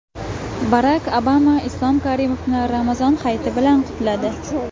Barak Obama Islom Karimovni Ramazon hayiti bilan qutladi .